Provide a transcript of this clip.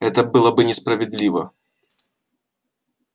это было бы несправедливо